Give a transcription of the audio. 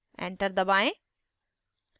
enter दबाएं